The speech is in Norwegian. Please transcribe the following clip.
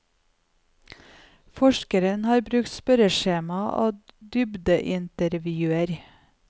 Forskeren har brukt spørreskjema og dybdeintervjuer.